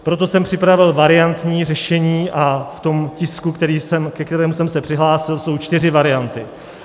Proto jsem připravil variantní řešení a v tom tisku, ke kterému jsem se přihlásil, jsou čtyři varianty.